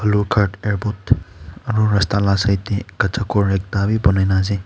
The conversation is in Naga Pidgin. lugart airport aru rasta la side kacha ghor ekta bi banai kena ase.